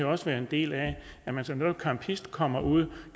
også være en del af at man som campist kommer ud